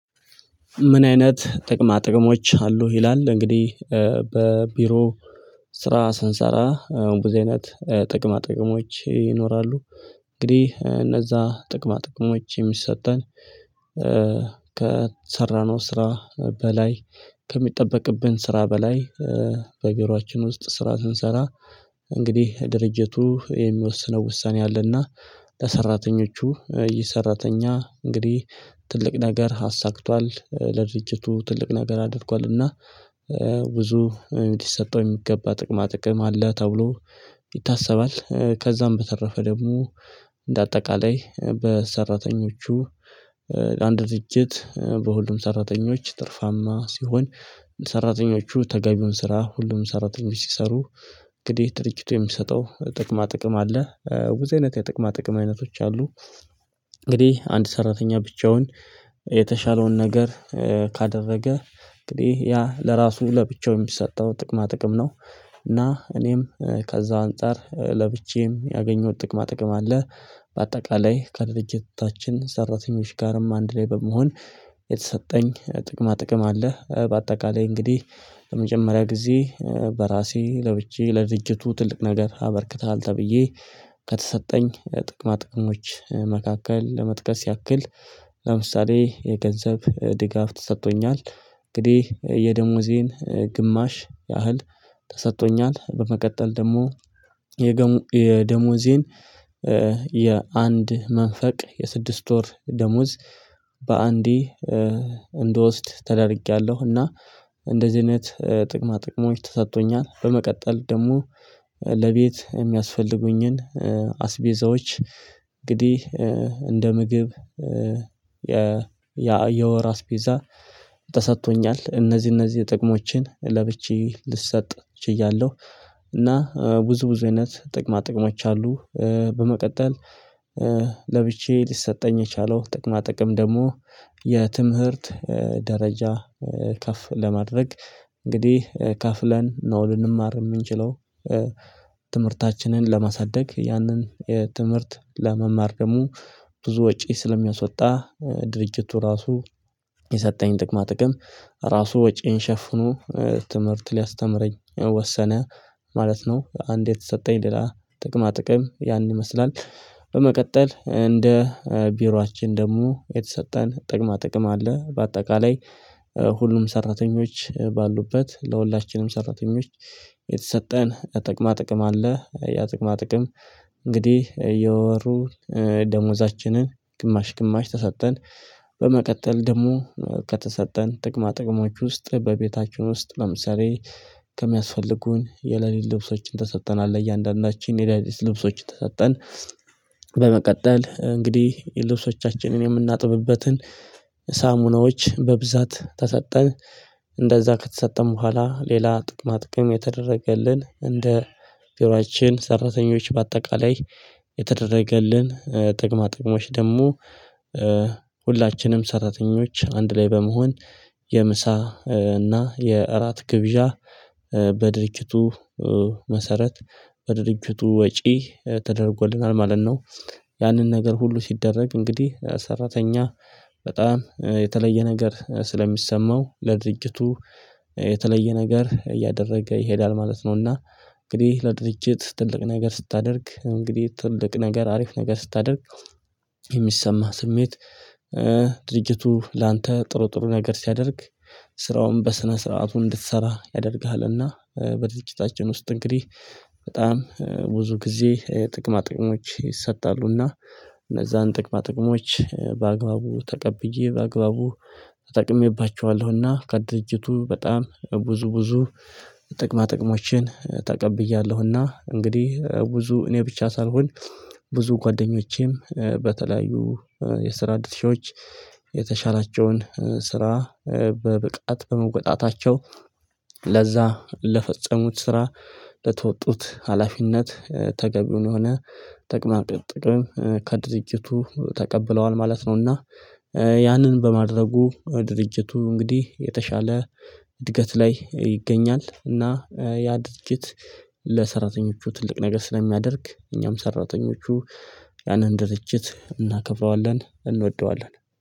ምን አይነት ጥቅማ ጥቅሞች አሉ ይላል እንግዲህ በቢሮ ስራ ሰንሰራ ብዙ አይነት ጥቅማ ጥቅሞች ይኖራሉ እንግዲህ እነዛ ጥቅማ ጥቅሞች የሚሰጠን ከሰራነው ስራ በላይ ከሚጠበቅብን ስራ በላይ በቢሮአችን ውስጥ ስራ ስንሰራ እንግዲህ ድርጅቱ የሚወስነው ውሳኔ አለና ለሰራተኞቹ ይህ ሰራተኛ እንግዲህ ትልቅ ነገር አሳክቷል ለድርጅቱ ትልቅ ነገር አድርጓልና ብዙ እንዲሰጠው የሚገባ ጥቅማ ጥቅም አለ ተብሎ ይታሰባል ከዛም በተረፈ ደግሞ እንደ አጠቃላይ በሰራተኞቹ አንድ ድርጅት በሁሉም ሰራተኞች ትርፋማ ሲሆን ሰራተኞቹ ተጋቢውን ስራ ሁሉም ሰራተኞች ሲሰሩ እንግዲህ ድርጅቱ የሚሰጠው ጥቅማ ጥቅም አለ ብዙ አይነት የጥቅማ ጥቅም አይነቶች አሉ እንግዲህ፣ አንድ ሰራተኛ ብቻውን የተሻለውን ነገር ካደረገ፣ እንግዲህ ያ ለራሱ፣ ለብቻው የሚሰጠው ጥቅማ ጥቅም ነው። እና እኔም ከዛ አንፃር ለብቻዬም ያገኘሁት ጥቅማ ጥቅም አለ። በአጠቃላይ፣ ከድርጅታችን ሰራተኞች ጋርም አንድ ላይ በመሆን የተሰጠኝ ጥቅማ ጥቅም አለ። በአጠቃላይ እንግዲህ ለመጀመሪያ ጊዜ በራሴ፣ ለብቻዬ ለድጅቱ ትልቅ ነገር አበርክተሃል ተብዬ ከተሰጠኝ ጥቅማ ጥቅሞች መካከል ለመጥቀስ ያክል ለምሳሌ የገንዘብ ድጋፍ ተሰጥቶኛል እንግዲህ የደሞዜን ግማሽ ያህል ተሰጥቶኛል በመቀጠል ደሞ የደሞዜን የአንድ መንፈቅ የስድስት ወር ደሞዝ በአንዴ እንደወስድ ተደርጌያለሁ እና እንደዚህ አይነት ጥቅማ ጥቅሞች ተሰጥቶኛል በመቀጠል ደሞ ለቤት የሚያስፈልጉኝን አስቤዛዎች እንግዲህ እንደ ምግብ የ የወር አስቤዛ ተሰጥቶኛል እነዚህ እነዚህ ጥቅሞችን ለብቻዬ ልሰጥ ችያለሁ እና ብዙ ብዙ አይነት ጥቅማ ጥቅሞች አሉ በመቀጠል ለብቼዬ ሊሰጠኝ የቻለው ጥቅማ ጥቅም ደሞ የትምህርት ደረጃ ከፍ ለማድረግ እንግዲህ ከፍለን ነው ልንማር ምንችለው ትምህርታችንን ለማሳደግ ያንን የ ትምህርት ለመማር ደሞ ብዙ ወጪ ስለሚያሶወጣ ድርጅቱ ራሱ የሰጠኝ ጥቅማ ጥቅም ራሱ ወጪዬን ሸፍኖ ትምህርት ሊያስተምረኝ ወሰነ ማለት ነው አንድ የተሰጠኝ ሌላ ጥቅማ ጥቅም ያን ይመስላል በመቀጠል፣ እንደ ቢሮአችን ደሞ የተሰጠን ጥቅማ ጥቅም አለ፣ በአጠቃላይ። ሁሉም ሰራተኞች ባሉበት ለሁላችንም ሰራተኞች የተሰጠን ጥቅማ ጥቅም አለ ያ ጥቅማ ጥቅም እንግዲህ የወሩ ደሞዛችንን ግማሽ ግማሽ ተሰጠን በመቀጠል ደሞ ከተሰጠን ጥቅማ ጥቅሞች ውስጥ በቤታችን ውስጥ ለምሳሌ ከሚያስፈልጉን የሌሊት ልብሶችን ተሰጥተናል ለእያንዳንዳችን የሌሊት ልብሶችን ተሰጠን በመቀጠል፣ እንግዲህ ልብሶቻችንን የምናጥብበትን ሳሙናዎች በብዛት ተሰጠን። እንደዛ ከተሰጠን በኋላ፣ ሌላ ጥቅማ ጥቅም የተደረገልን እንደ ቢሮአችን ሰራተኞች፣ በአጠቃላይ የተደረገልን ጥቅማ ጥቅሞች ደሞ ሁላችንም ሰራተኞች አንድ ላይ በመሆን፣ የምሳ እና የእራት ግብዣ በድርጅቱ መሰረት በድርጅቱ ወጪ ተደርጎልናል፣ ማለት ነው። ያንን ነገር ሁሉ ሲደረግ፣ እንግዲህ ሰራተኛ በጣም የተለየ ነገር ስለሚሰማው ለድርጅቱ የተለየ ነገር እያደረገ ይሄዳል ማለት ነውና እንግዲህ፣ ለድርጅት ትልቅ ነገር ስታደርግ፣ እንግዲህ ትልቅ ነገር፣ አሪፍ ነገር ስታደርግ የሚሰማህ ስሜት፣ ድርጅቱ ላንተ ጥሩ ጥሩ ነገር ሲያደርግ ስራውን በስነ ስርዓቱ እንድትሰራ ያደርግልና በድርጅታችን ውስጥ እንግዲህ በጣም ብዙ ጊዜ ጥቅማ ጥቅሞች ይሰጣሉና እነዛን ጥቅማ ጥቅሞች በአግባቡ ተቀብዬ፣ በአግባቡ ተጠቅሜባቸዋለሁና፣ ከድርጅቱ በጣም ብዙ፣ ብዙ ጥቅማ ጥቅሞችን ተቀብያለሁና፣ እንግዲህ ብዙ፣ እኔ ብቻ ሳልሆን ብዙ ጓደኞቼም በተለያዩ የስራ ድርሻዎች የተሻላቸውን ስራ በብቃት በመውጣታቸው ለዛ ለፈጸሙት ስራ ለተወጡት ሀላፊነት ተገቢውን የሆነ ጥቅማ ጥቅም ከድርጅቱ ተቀብለዋል ማለት ነውና ያንን በማድረጉ፣ ድርጅቱ እንግዲህ የተሻለ እድገት ላይ ይገኛል፣ እና ያ ድርጅት ለሰራተኞቹ ትልቅ ነገር ስለሚያደርግ፣ እኛም ሰራተኞቹ ያንን ድርጅት እናከብረዋለን፣ እንወደዋለን።